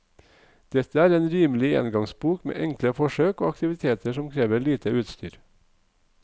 Dette er en rimelig engangsbok med enkle forsøk og aktiviteter som krever lite utstyr.